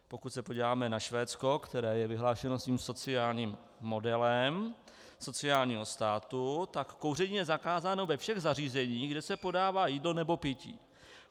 Pokud se podíváme na Švédsko, které je vyhlášeno svým sociálním modelem sociálního státu, tak kouření je zakázáno ve všech zařízeních, kde se podává jídlo nebo pití.